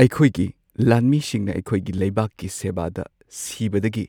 ꯑꯩꯈꯣꯏꯒꯤ ꯂꯥꯟꯃꯤꯁꯤꯡꯅ ꯑꯩꯈꯣꯏꯒꯤ ꯂꯩꯕꯥꯛꯀꯤ ꯁꯦꯕꯥꯗ ꯁꯤꯕꯗꯒꯤ